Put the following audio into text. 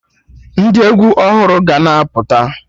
Ndị egwu ọhụrụ ga na-apụta